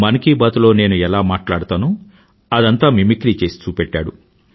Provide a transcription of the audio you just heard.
మన్ కీ బాత్ లో నేను ఎలా మాట్లాడతానో అదంతా మిమిక్రీ చేసి చూపెట్టాడు